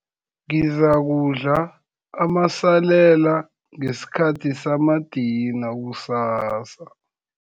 Ngizakudla amasalela ngesikhathi samadina kusasa.